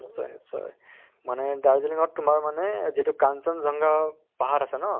চয় নিশ্চয়। মানে দাৰ্জিলিং ত তোমাৰ মানে যিটো কাঞ্চনজংঘা পাহাৰ আছে ন